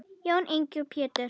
Jón Ingi og Pétur.